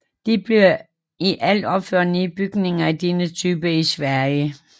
Der blev i alt opført ni bygninger af denne type i Sverige